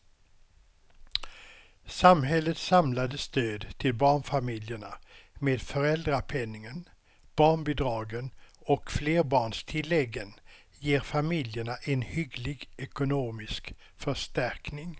Samhällets samlade stöd till barnfamiljerna med föräldrapenningen, barnbidragen och flerbarnstilläggen ger familjerna en hygglig ekonomisk förstärkning.